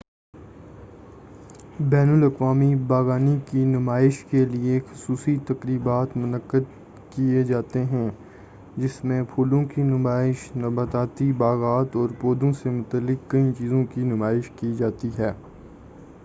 بین الاقوامی باغبانی کی نمائش کیلئے خصوصی تقریبات منعقد کیے جاتے ہیں جس میں پھولوں کی نمائش نباتیاتی باغات اور پودوں سے متعلق کئی چیزوں کی نمائش کی جاتی ہے